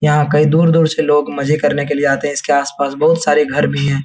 यहाँ कई दूर-दूर से लोग मजे करने के लिए आते है इसके आस-पास बहोत सारे घर भी है।